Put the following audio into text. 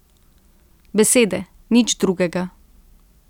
Besede, nič drugega.